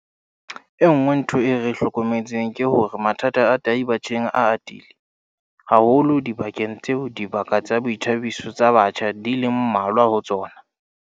E nngwe ntho eo re e hlokometseng ke hore mathata a tahi batjheng a atile haholo dibakeng tseo dibaka tsa boithabiso tsa batjha di leng mmalwa ho tsona.